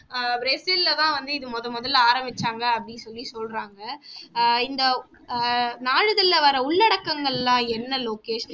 ஆஹ் பிரேசில்ல தான் வந்து இது முதன்முதல்ல ஆரம்பிச்சாங்க அப்படின்னு சொல்லி சொல்றாங்க ஆஹ் இந்த ஆஹ் நாளிதழில வரும் உள்ளடக்கங்கள் எல்லாம் என்ன லோகேஷ்?